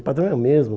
O padrão é o mesmo.